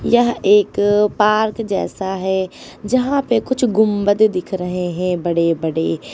यह एक पार्क जैसा है जहां पे कुछ गुंबद दिख रहे हैं बड़े बड़े।